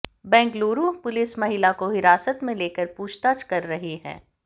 Bengaluru police महिला को हिरासत में लेकर पूछताछ कर रही है